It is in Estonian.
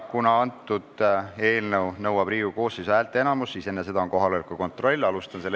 Kuna eelnõu nõuab vastuvõtmiseks Riigikogu koosseisu häälteenamust, siis enne seda on kohaloleku kontroll.